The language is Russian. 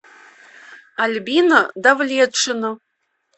альбина давлетшина